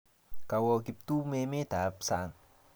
Kawo Kiptum emet ap sang'